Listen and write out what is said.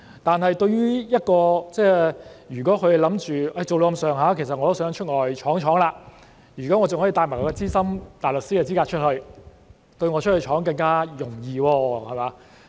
但對於另一些人，如果他們是想在律政司工作一段時間後便往外闖，而如能帶着資深大律師的資格往外闖，便會更容易。